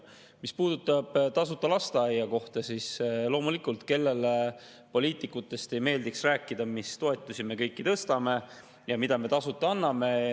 Mis puudutab tasuta lasteaiakohta, siis loomulikult, kellele poliitikutest ei meeldiks rääkida, mis toetusi me kõiki tõstame ja mida me tasuta anname.